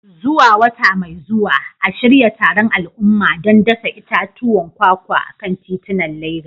Zuwa wata mai zuwa, a shirya taron al'umma don dasa itatuwan kwakwa a kan titunan Legas.